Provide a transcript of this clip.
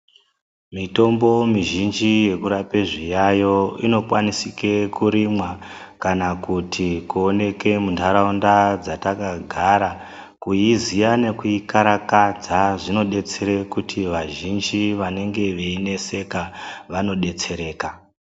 Mitombo mizhinji yekurape zviyayo inokwanisike kurimwa kakuti kuoneke muntaraunda dzatakagara. Kuiziya nekuikarakadza zvinobetsere kuti vazhinji vanenge veineseka vanobetsereka.